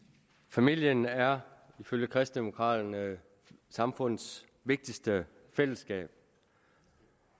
familien er ifølge kristendemokraterne samfundets vigtigste fællesskab